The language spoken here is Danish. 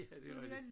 Ja det rigtigt